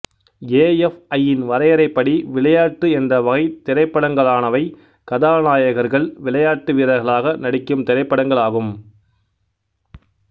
A F I யின் வரையறைப்படி விளையாட்டு என்ற வகை திரைப்படங்களானவை கதாநாயகர்கள் விளையாட்டு வீரர்களாக நடிக்கும் திரைப்படங்கள் ஆகும்